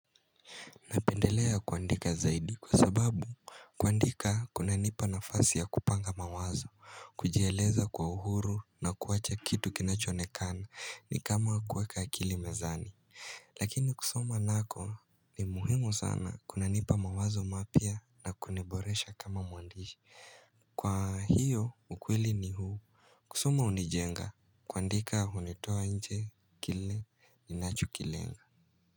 Napendelea kuandika zaidi kwa sababu kuandika kuna nipa na fasi ya kupanga mawazo, kujieleza kwa uhuru na kuacha kitu kinachoonekana ni kama kuweka akili mezani. Lakini kusoma nako ni muhimu sana kuna nipa mawazo mapya na kuniboresha kama muandishi. Kwa hiyo ukweli ni huu. Kusoma hunijenga kuandika unitoa nje kile ni nacho kilenga.